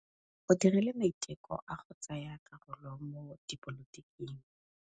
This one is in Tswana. O dirile maitekô a go tsaya karolo mo dipolotiking.